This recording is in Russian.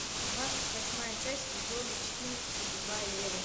двадцать восьмая часть сезона четырнадцать убивая еву